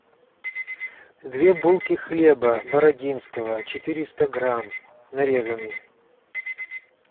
две булки хлеба бородинского четыреста грамм нарезанный